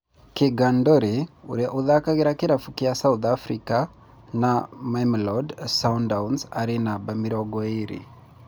Keegan Dolly ũria ũthakagira kĩravũkĩa South Africa na Mamelodi Sundowns arĩ namba mĩrongo ĩĩrĩ